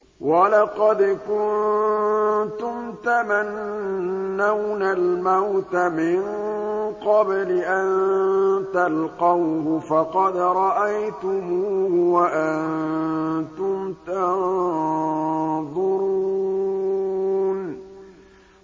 وَلَقَدْ كُنتُمْ تَمَنَّوْنَ الْمَوْتَ مِن قَبْلِ أَن تَلْقَوْهُ فَقَدْ رَأَيْتُمُوهُ وَأَنتُمْ تَنظُرُونَ